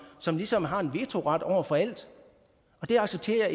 som ligesom har en vetoret over for alt det accepterer